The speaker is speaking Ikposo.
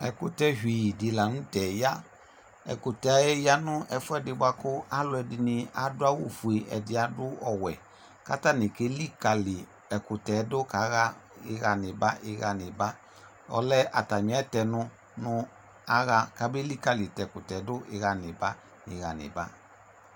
Ɛkʋtɛvi dɩ la nʋtɛ ya : ɛkʋtɛɛ ya nʋ ɛfʋɛdɩ bʋa kʋ alʋɛdɩnɩ adʋ awʋfue ɛdɩ adʋ ɔwɛ K'atanɩ kelikǝli ɛkʋtɛɛ dʋ kaɣa ɩɣa n'ɩba ɩɣa n'ɩba Ɔlɛ atamɩ ɛtɛnʋ nʋ aɣa k'ame likǝli t'ɛkʋtɛdʋ ɩɣa n'ɩba ɩɣa n'ɩba